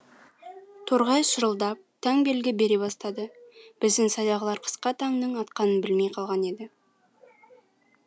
торғай шырылдап таң белгі бере бастады біздің сайдағылар қысқа таңның атқанын білмей қалған еді